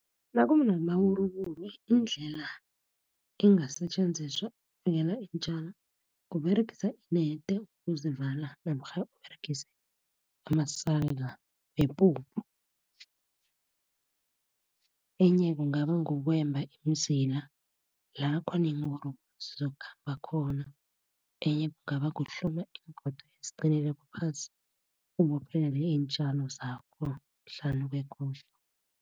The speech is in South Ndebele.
Nakunamawuruwuru indlela ingasetjenziswa ukuvikela iintjalo, kuberegisa inede ukuzivala, namkha ukuberegisa amasaka wepuphu. Enye kungaba ukwemba iimzila lakhona iiwuruwuru zizokhambakhona. Enye kungaba kuhloma iingodo eziqinileko phasi, ubophelele iintjalo zakho hlanu